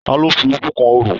Ta ló fi ojú kan orò?